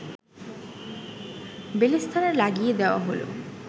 বেলেস্তারা লাগিয়ে দেওয়া হল